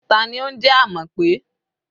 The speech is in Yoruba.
Ta ni ó ń jẹ́ Amope?